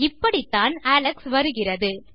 இப்படித்தான் அலெக்ஸ் வருகிறது